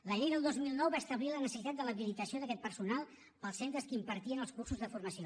la llei del dos mil nou va establir la necessitat de l’habilitació d’aquest personal per als centres que impartien el cursos de formació